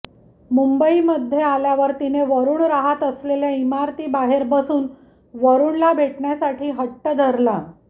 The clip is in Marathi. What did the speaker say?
मुंबईमध्ये आल्यावर तिने वरुण राहत असलेल्या इमारतीबाहेर बसून वरुणला भेटण्यासाठी हट्ट धरला